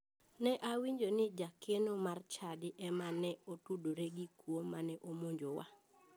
Ne wawinjo ni jakeno mar chadi ema ne otudore gi jakuo mane omonjowa.